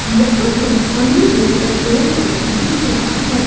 यहाँ पर हमें एक पेट्रोल पंप दिख रहा है।